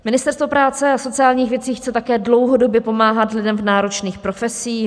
Ministerstvo práce a sociálních věcí chce také dlouhodobě pomáhat lidem v náročných profesích.